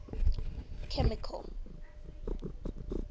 chemical